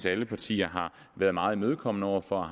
at alle partier har været meget imødekommende over for og